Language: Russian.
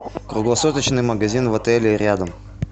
круглосуточный магазин в отеле рядом